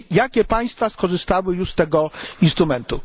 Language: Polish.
Czyli jakie państwa skorzystały już z tego instrumentu?